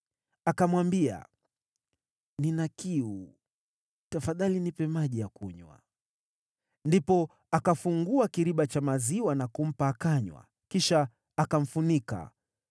Akamwambia, “Nina kiu, tafadhali nipe maji ya kunywa.” Ndipo akafungua kiriba cha maziwa na kumpa akanywa, kisha akamfunika.